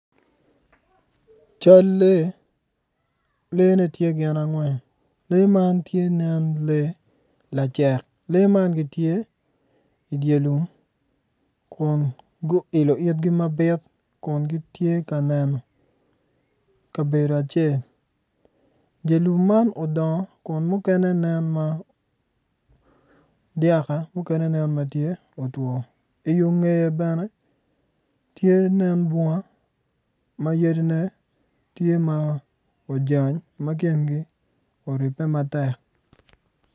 Cal lee leene tye gin angwen lee man tye nen lee lacek lee man gitye idye lum kun guilo ibgi mabit kun gitye ka neno kabedo acel dye lum man odongo kun mukene nen ma dyaka muken nen ma tye otwo iyo ngeye bene tye nen bunga ma yadine tye ma ojany ma kingi oribbe matek.